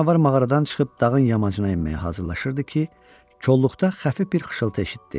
Ata canavar mağaradan çıxıb dağın yamacına enməyə hazırlaşırdı ki, kolluqda xəfif bir xışıltı eşitdi.